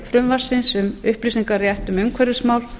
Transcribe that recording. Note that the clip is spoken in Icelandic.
frumvarpsins um upplýsingarétt um umhverfismál